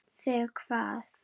Þig hvað?